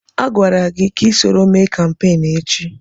Agwara gị ka isoro mee kampeenụ́ echi!